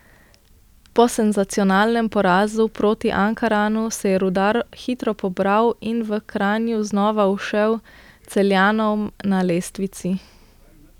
Po senzacionalnem porazu proti Ankaranu se je Rudar hitro pobral in v Kranju znova ušel Celjanom na lestvici.